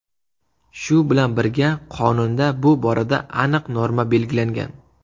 Shu bilan birga, Qonunda bu borada aniq norma belgilangan.